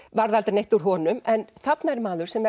varð aldrei neitt úr honum en þarna er maður sem